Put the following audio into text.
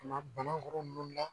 Ka na Banakɔrɔ ninnu na